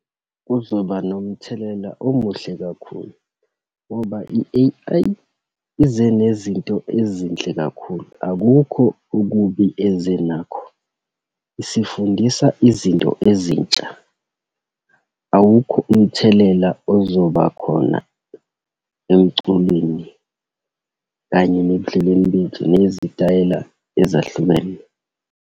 Kuzoba nomthelela omuhle kakhulu, ngoba i-A_I ize nezinto ezinhle kakhulu. Akukho okubi ezenakho, isifundisa izinto ezintsha. Awukho umthelela ozoba khona emculweni kanye nebudlelweni bethu, nezitayela ezahlukene.